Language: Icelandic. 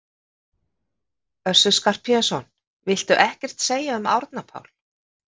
Össur Skarphéðinsson: Viltu ekkert segja um Árna Pál?